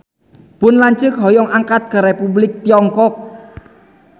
Pun lanceuk hoyong angkat ka Republik Tiongkok